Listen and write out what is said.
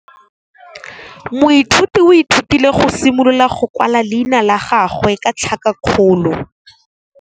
Moithuti o ithutile go simolola go kwala leina la gagwe ka tlhakakgolo.